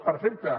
perfecte